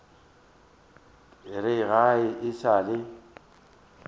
re ga e sa le